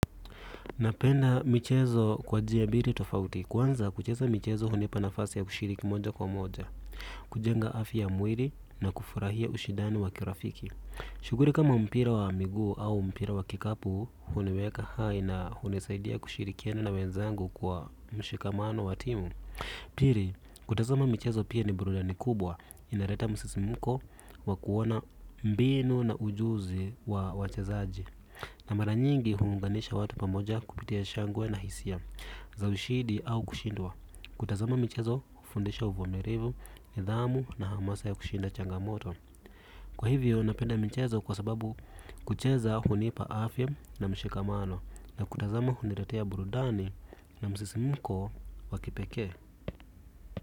Napenda michezo kwa jia bili tofauti, kwanza kucheza michezo hunipanafasi ya kushiriki moja kwa moja, kujenga afya ya mwiri na kufurahia ushidani wa kirafiki. Shuguri kama mpira wa migu au mpira wa kikapu huniweka haina huni saidia kushirikiani na wenzangu kwa mshikamano wa timu. Piri, kutazama michezo pia ni burudani kubwa inareta msisimko wa kuona mbinu na ujuzi wa wachezaji. Na maranyingi huunganisha watu pamoja kupitia shangwe na hisia za ushidi au kushindwa. Kutazama michezo hundisha uvumirivu ni dhamu na hamasa ya kushinda changamoto. Kwa hivyo, napenda michezo kwa sababu kucheza hunipa afya na mshikamano na kutazama huniretea burudani na msisi mko wakipeke.